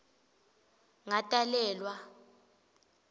ngatalelwa